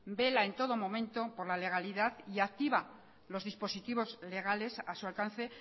vela en todo momento por la legalidad y activa los dispositivos legales a su alcance